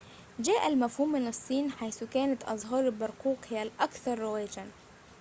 جاء المفهوم من الصين حيث كانت أزهار البرقوق هي الأكثر رواجًا